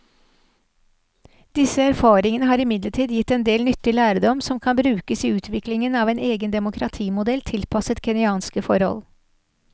Disse erfaringene har imidlertid gitt en del nyttig lærdom som kan brukes i utviklingen av en egen demokratimodell tilpasset kenyanske forhold.